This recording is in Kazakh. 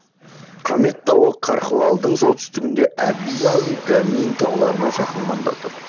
камет тауы гархвалдың солтүстігінде аби гамин тауларына жақын маңда тұр